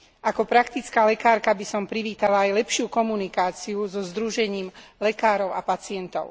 Ako praktická lekárka by som privítala aj lepšiu komunikáciu so združením lekárov a pacientov.